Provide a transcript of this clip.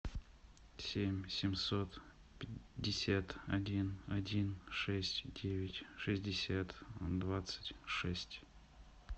семь семьсот пятьдесят один один шесть девять шестьдесят двадцать шесть